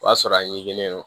O y'a sɔrɔ a ɲikilen don